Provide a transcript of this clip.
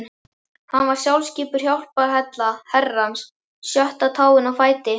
Hann var sjálfskipuð hjálparhella Herrans, sjötta táin á fæti